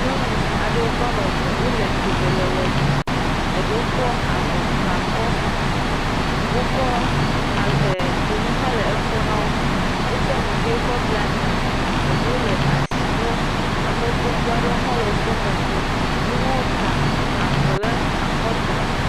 Nyɔnu aɖewo ame le tome le ɣeɖum ɖewo kɔ avɔ gba akɔ afɔkpa dzonu ha le kɔ nawo wokɔ nu ɣi bla ta ɖewo le asi nawo ame gbogbo aɖewo le woƒe megbe woawo ha ta avɔ ɖe akɔta